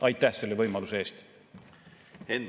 Aitäh selle võimaluse eest!